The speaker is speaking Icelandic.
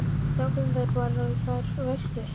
En þá komu þær bara, þær verstu.